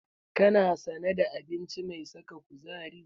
Kana sane da abinci mai saka kuzari?